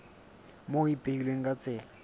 moo ho ipehilweng ka tsela